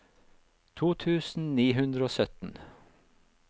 to tusen ni hundre og sytten